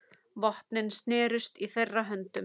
Vopnin snerust í þeirra höndum.